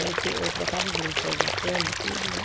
Eu trocava os lençóis da cama, tudo, né?